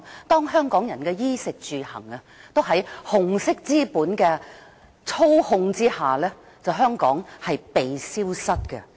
當香港人的衣食住行都受到紅色資本操控，香港便會"被消失"。